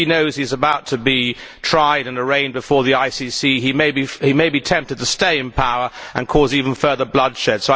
If he knows he is about to be tried and arraigned before the ICC he may be tempted to stay in power and cause even further bloodshed.